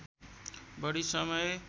बढी समय